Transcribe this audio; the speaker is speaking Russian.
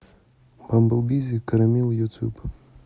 бамбл бизи корамилл ютуб